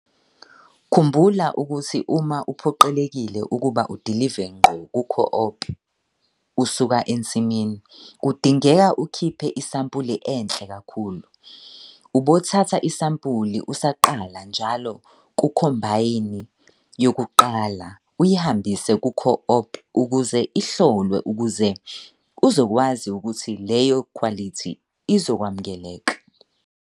Khumbula ukuthi uma uphoqelekile ukuba udilive ngqo ku-co-op usuka emnsimini kudingeka ukhiphe isampula enhle kakhulu. Ubothatha isampula usaqala njalo kukhombayini yokuqala uyihambise ku-co-op ukuze ihlolwe ukuze uzokwazi ukuthi leyo khwalithi izokwamukeleka.